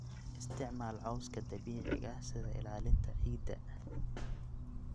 Isticmaal cawska dabiiciga ah sida ilaalinta ciidda.